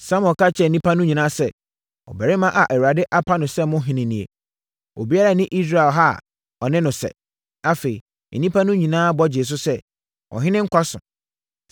Samuel ka kyerɛɛ nnipa no nyinaa sɛ, “Ɔbarima a Awurade apa no sɛ mo ɔhene nie. Obiara nni Israel ha a ɔne no sɛ.” Afei, nnipa no nyinaa bɔ gyee so sɛ, “Ɔhene nkwa so!”